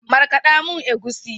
Markada mun egusi.